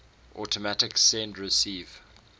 automatic send receive